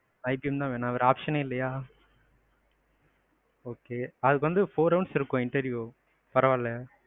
IBM தான் வேணும் வேற option யே இல்லையா. okay அதுக்கு four rounds இருக்கும் interview பரவாயில்லையா?